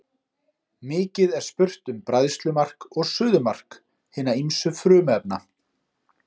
Mikið er spurt um bræðslumark og suðumark hinna ýmsu frumefna.